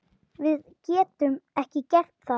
Við getum ekki gert það.